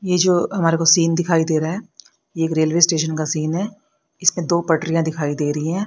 ये जो हमारे को सीन दिखाई दे रहा हैं एक रेलवे स्टेशन का सीन है इसमें दो पटरियां दिखाई दे रही हैं।